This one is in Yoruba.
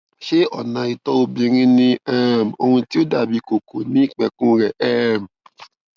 ṣé ọnà ìtọ obìnrin ní um ohun tí ó dàbí kókó ní ìpẹkun rẹ um